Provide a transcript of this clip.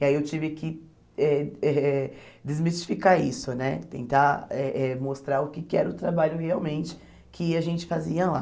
E aí eu tive que eh eh desmistificar isso né, tentar eh eh mostrar o que que era o trabalho realmente que a gente fazia lá.